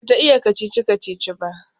Bata iya kacici-kacici ba